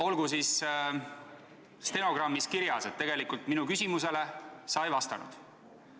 Olgu siis stenogrammis kirjas, et tegelikult sa minu küsimusele ei vastanud.